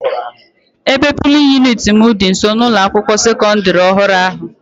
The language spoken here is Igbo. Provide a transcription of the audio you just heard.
Ebe polin yuniti m dị nso n'ụlọ akwụkwọ sekọdịrị ọhụrụ ahụ.